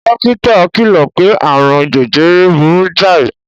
Dókítà kìlò pé aààrùn jejere burú jáì.